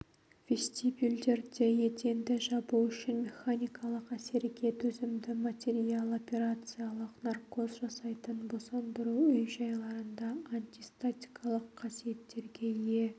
вестибюльдерде еденді жабу үшін механикалық әсерге төзімді материал операциялық наркоз жасайтын босандыру үй-жайларында антистатикалық қасиеттерге ие